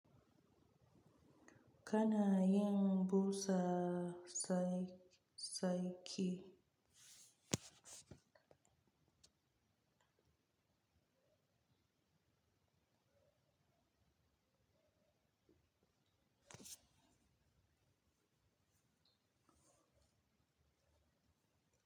Kana yin busa saki.